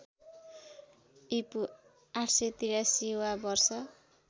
ईपू ८८३ वा वर्ष